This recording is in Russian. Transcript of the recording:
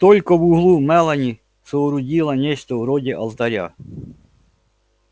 только в углу мелани соорудила нечто вроде алтаря